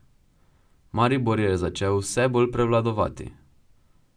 Maribor je začel vse bolj prevladovati.